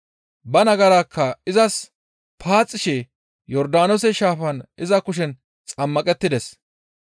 ba nagarakka izas paaxishe Yordaanoose Shaafan iza kushen xammaqettides.